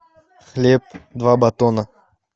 хлеб два батона